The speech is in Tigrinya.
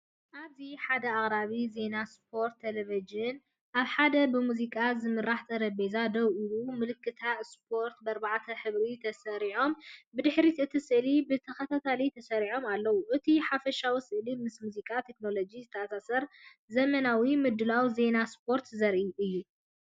ኣብዚ፡ ሓደ ኣቕራቢ ዜና ስፖርት ቴሌቪዥን፡ ኣብ ሓደ ብሙዚቃ ዝምራሕ ጠረጴዛ ደው ኢሉ፡ ምልክታት ስፖርት ብኣርባዕተ ሕብሪ ተሰሪዖም፡ብድሕሪ እቲ ስእሊ ብተኸታታሊ ተሰሪዖም ኣለዉ። እቲ ሓፈሻዊ ስእሊ ምስ ሙዚቃን ቴክኖሎጅን ዝተኣሳሰር ዘመናዊ ምድላው ዜናታት ስፖርት ዘርኢ እዩ።